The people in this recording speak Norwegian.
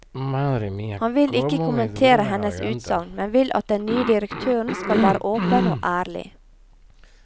Han vil ikke kommentere hennes utsagn, men vil at den nye direktøren skal være åpen og ærlig.